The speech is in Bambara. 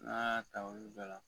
N'a y'a ta olu bɛɛ la